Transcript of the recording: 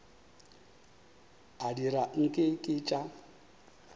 a dira nke ke tša